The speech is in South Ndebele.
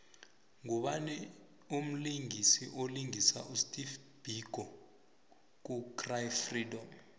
ngubani mlisingisi olingisa usteve biko ku cry freedom